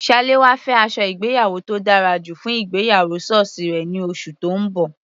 Salawa fẹ́ aṣọ ìgbéyàwó tó dára jù fún ìgbéyàwó sọ́ọ̀sì rẹ̀ ní oṣù tó ń bọ̀.